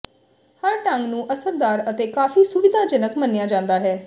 ਹਰ ਢੰਗ ਨੂੰ ਅਸਰਦਾਰ ਅਤੇ ਕਾਫ਼ੀ ਸੁਵਿਧਾਜਨਕ ਮੰਨਿਆ ਜਾਂਦਾ ਹੈ